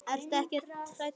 Breki: Ertu ekkert hræddur?